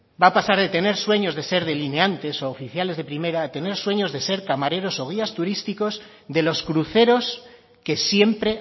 va a pasar de tener sueños de ser delineantes u oficiales de primera a tener sueños de ser camareros o guías turísticos de los cruceros que siempre